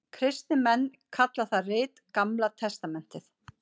Kristnir menn kalla það rit Gamla testamentið.